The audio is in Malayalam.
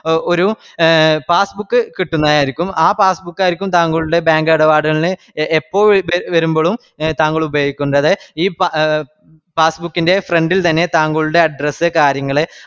ഒരു passbook കിട്ടുന്നതാരിക്കും ആ passbook ആരിക്കും താങ്കളുടെ bank ഇടപാടുകളിന് എപ്പോൾ വെ വേരുമ്പഴും താങ്കൾ ഉപയോഗിക്കണ്ടത്. ഈ passbook ന്റെ front ഇത് തന്നെ താങ്കളുടെ address കാര്യങ്ങള്